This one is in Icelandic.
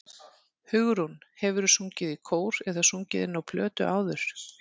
Hugrún: Hefurðu sungið í kór eða sungið inn á plötu áður?